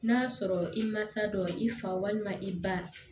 N'a sɔrɔ i mansa dɔ i fa walima i ba